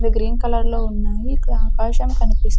అవి green colour లో ఉన్నాయి ఇక్కడ ఆకాశం కనిపిస్తు --